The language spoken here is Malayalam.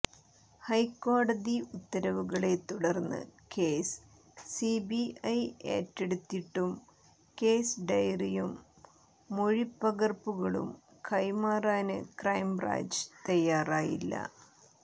ഹൈക്കോടതി ഉത്തരവുകളെ തുടര്ന്ന് കേസ് സിബിഐ ഏറ്റെടുത്തിട്ടും കേസ് ഡയറിയും മൊഴിപ്പകര്പ്പുകളും കൈമാറാന് ക്രൈംബ്രാഞ്ച് തയ്യാറായില്ല